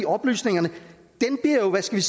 oplysningerne bliver jo hvad skal